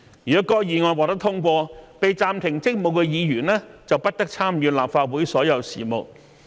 如該議案獲得通過，被暫停職務的議員便不得參與立法會所有事務。